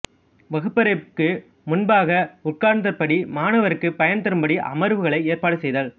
வகுப்பறைக்கு முன்பாக உட்கார்ந்தபடி மாணவருக்குப் பயன் தரும்படி அமர்வுகளை ஏற்பாடு செய்தல்